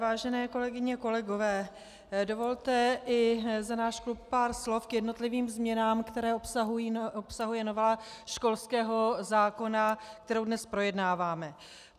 Vážené kolegyně, kolegové, dovolte i za náš klub pár slov k jednotlivým změnám, které obsahuje novela školského zákona, kterou dnes projednáváme.